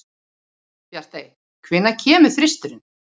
Bjartey, hvenær kemur þristurinn?